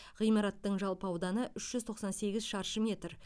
ғимараттың жалпы ауданы үш жүз тоқсан сегіз шаршы метр